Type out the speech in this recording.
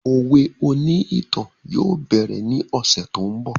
Òwe oní ìtàn yóò bẹ̀rẹ̀ ní ọ̀sẹ̀ tó ń bọ̀